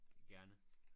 Gerne